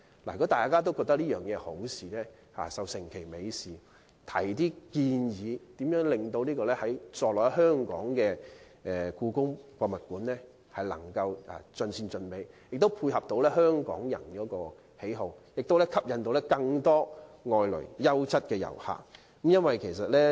如果大家也覺得這是好事，便應該成其美事，並提出建議，令座落在香港的故宮館能夠盡善盡美，配合香港人的喜好，並吸引更多外來的優質遊客。